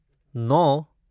नौ